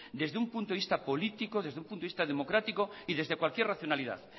desde un punto de vista político desde un punto de vista democrático y desde cualquier racionalidad